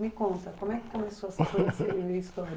Me conta, como é que começou a ser uma história?